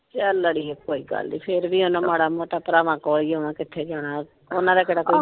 ਚੱਲ ਅੜੀਏ ਕੋਇ ਗੱਲ ਨਿ ਫੇਰ ਵੀ ਹਨ ਮਾੜਾ ਮੋਟਾ ਭਰਾਵਾਂ ਕੋਲ ਹੀ ਆਉਣਾ ਕਿਥੇ ਜਾਣਾ ਹੋਰ ਓਹਨਾ ਦਾ ਕੇਹਰ ਕੋਇ ਹੋਰ ਹੈਗਾ?